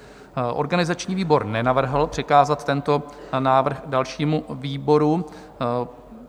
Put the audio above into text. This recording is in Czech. Organizační výbor nenavrhl přikázat tento návrh dalšímu výboru.